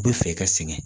U bɛ fɛ i ka sɛgɛn